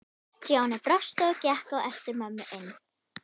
Stjáni brosti og gekk á eftir mömmu inn.